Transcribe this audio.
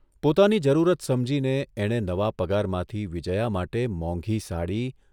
પોતાની જરૂરત સમજીને એણે નવા પગારમાંથી વિજ્યા માટે મોંઘી સાડી